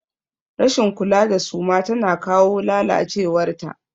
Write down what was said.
Rashin kula da suma tana kawo lalacewar ta.